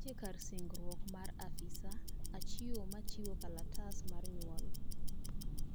nitiere kar singruok mar afisa achiwo machiwo kalatas mar nyuol